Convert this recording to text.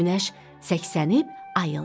Günəş səksənib ayıldı.